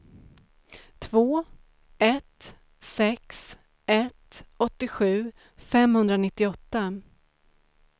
två ett sex ett åttiosju femhundranittioåtta